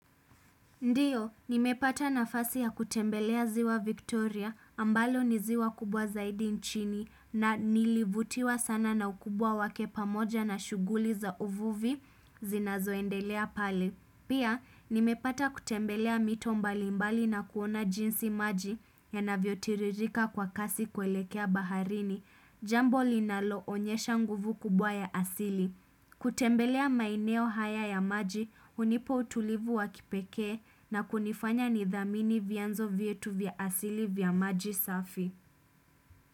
Ndiyo, nimepata nafasi ya kutembelea ziwa Victoria ambalo niziwa kubwa zaidi nchini na nilivutiwa sana na ukubwa wake pamoja na shughuli za uvuvi zinazoendelea pale. Pia, nimepata kutembelea mito mbali mbali na kuona jinsi maji ya navyotiririka kwa kasi kuelekea baharini, jambo linalo onyesha nguvu kubwa ya asili. Kutembelea maeneo haya ya maji hunipa utulivu wa kipekee na kunifanya nidhamini vyanzo vyetu vya asili vya maji safi.